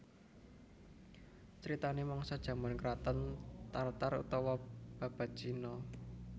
Critanè mangsa jaman kraton Tar Tar utawa Babad Cina